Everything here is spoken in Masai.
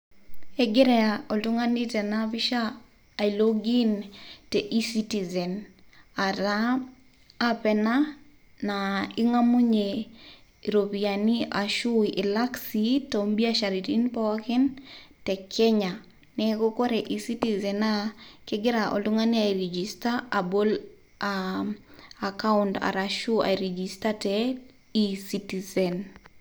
Egira oltung' ani tena pisha ailog in te eCitizen ataa app naa ing'amunye iropiani ashu ilak sii too mbiasharaitin pooikin te Kenya. Neeku kore ecitizen naa kegira oltung'ani airegister abol akaunt arashu airegister te eCitizen.